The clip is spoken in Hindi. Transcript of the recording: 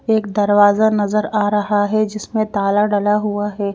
एक दरवाजा नज़र आ रहा है जिसमें ताला डला हुआ है।